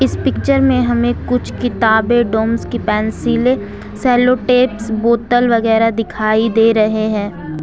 इस पिक्चर में हमें कुछ किताबें डोम्स की पेंसिले सेलोटेप्स बोतल वगैरा दिखाई दे रहे हैं।